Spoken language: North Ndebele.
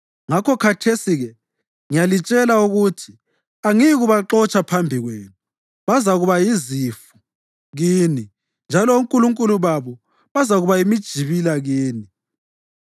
Ngakho khathesi-ke ngiyalitshela ukuthi angiyikubaxotsha phambi kwenu, bazakuba yizifu kini njalo onkulunkulu babo bazakuba yimijibila kini.”